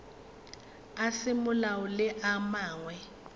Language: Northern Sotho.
a semolao le a mangwe